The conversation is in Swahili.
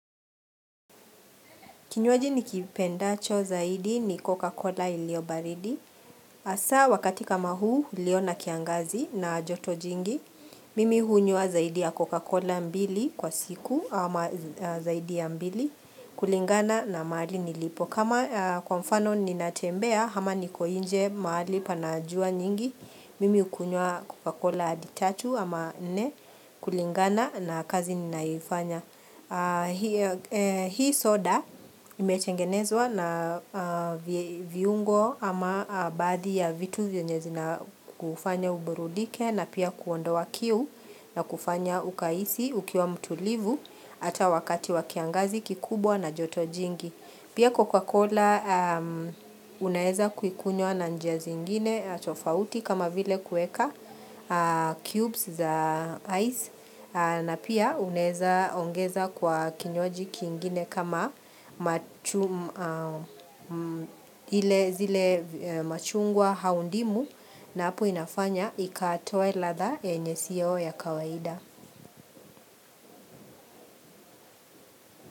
Kinywaji nikipendacho zaidi ni Coca-cola iliyo baridi. Hasaa wakati kama huu, ulio na kiangazi na joto jingi. Mimi hunywa zaidi ya Coca-Cola mbili kwa siku, ama zaidi ya mbili kulingana na mahali nilipo. Kama kwa mfano ninatembea, ama niko nje mahali pana jua nyingi. Mimi hukunywa Coca-Cola hadi tatu, ama nne, kulingana na kazi ninayofanya, hiyo Hii soda, imetengenezwa na viungo, ama badhi ya vitu vyenye zina kufanya uburudike na pia kuondoa kiu, na kufanya ukahisi ukiwa mtulivu, ata wakati wa kiangazi kikubwa na joto jingi. Pia coca-cola, unaweza kuikunywa na njia zingine tofauti, kama vile kuweka cubes za ice, na pia unaweza ongeza kwa kinywaji kingine kama ile zile machungwa au ndimu, na hapo inafanya ikatoe radha yenye si yao ya kawaida.